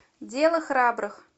дело храбрых